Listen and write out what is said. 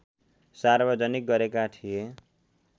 सार्वजनिक गरेका थिए